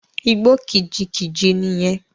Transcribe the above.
Igbó kìjikìji nì yẹn.